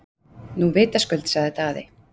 Nú vitaskuld, sagði Daði.